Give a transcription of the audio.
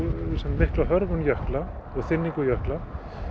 mikla hörfun jökla og þynningu jökla